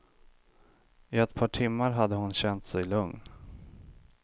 I ett par timmar hade hon känt sig lugn.